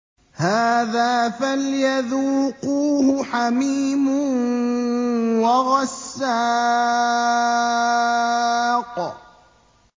هَٰذَا فَلْيَذُوقُوهُ حَمِيمٌ وَغَسَّاقٌ